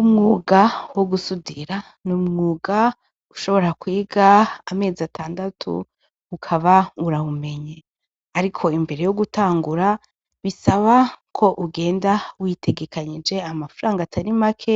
Umwuga wo gusudira ni umwuga ushobora kwiga amezi atandatu ukaba urawumenye, ariko imbere yo gutangura bisaba ko ugenda witegekanyije amafarango atarimake